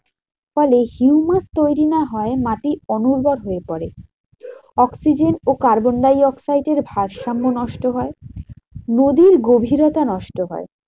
ফলে তৈরী না হওয়ায় মাটি অনুর্বর হয়ে পরে। oxygen ও carbon dioxide এর ভারসাম্য নষ্ট হয়। নদীর গভীরতা নষ্ট হয়।